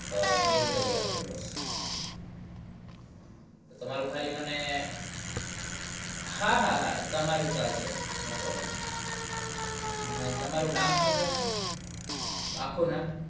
હા mali કરી આપજો બસ તમારું ખાલી મને હાહાહા તમારું ચાલશે no problem અને તમારું નામ શુ છે mem આખું નામ